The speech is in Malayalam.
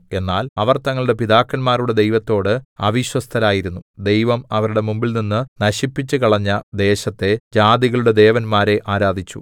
എന്നാൽ അവർ തങ്ങളുടെ പിതാക്കന്മാരുടെ ദൈവത്തോട് അവിശ്വസ്തരായിരുന്നു ദൈവം അവരുടെ മുമ്പിൽനിന്ന് നശിപ്പിച്ചുകളഞ്ഞ ദേശത്തെ ജാതികളുടെ ദേവന്മാരെ ആരാധിച്ചു